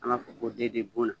An b'a fɔ ko de de buna.